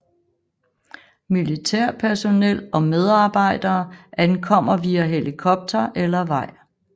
Militærpersonel og medarbejdere ankommer via helikopter eller vej